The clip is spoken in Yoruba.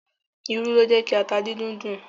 Irú ló jẹ́ ki ata díndín dùn.